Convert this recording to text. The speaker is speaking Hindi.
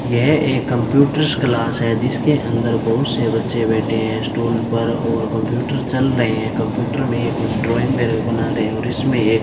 यह एक कंप्यूटर क्लास है जिसके अंदर बहुत से बच्चे बैठे हैं स्टूल पर और कंप्यूटर चल रहे हैं कंप्यूटर में कुछ ड्राइंग वगैरा बना रहे और इसमें एक --